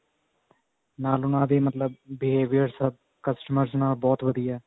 ਨਾਲ ਉਹਨਾ ਦਾ behavior customers ਨਾਲ ਬਹੁਤ ਵਧੀਆ